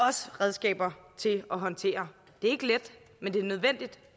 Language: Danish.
også redskaber til at håndtere det er ikke let men det er nødvendigt